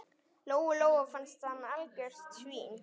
Lóu-Lóu fannst hann algjört svín.